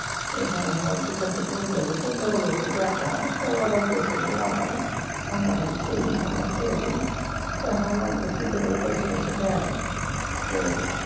এখানে হামার দুচারটা বন্ধু আছে তো বড়লোকের ব্যাটা তো ওরাই পয়সা দিয়ে লাগায় হামরা খালি খেলি হামরা খেলে দেই তা হামাগ জিতে গেলে পয়সা টয়সা দেয় তো